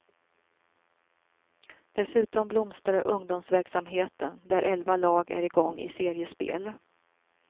Dessutom blomstrar ungdomsverksamheten där elva lag är igång i seriespel.